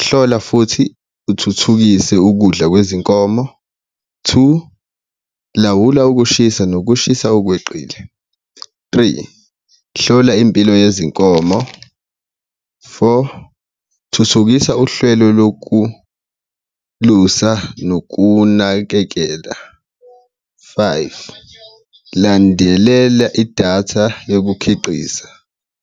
hlola futhi uthuthukise ukudla kwezinkomo, two lawula ukushisa nokushisa okweqile, three, hlola impilo yezinkomo, four, thuthukisa uhlelo lokulusa nokunakekela, five, landelela idatha yokukhiqiza.